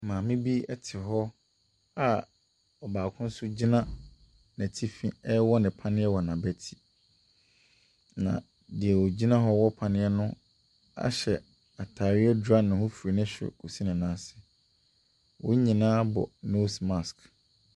Maame te a ɔbaako nso gyina n’atifi ɛrewɔ no panneɛ wɔ n’abati. Na deɛ ogyina hɔ ɛrewɔ no panneɛ no ahyɛ ataare adwira ne ho firi ne soro kɔsi na nan ase. Wɔn nyinaa bɔ nose mask.